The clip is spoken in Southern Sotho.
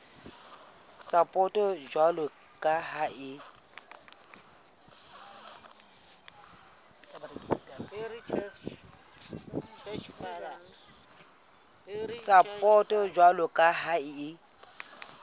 sapoto jwalo ka ha e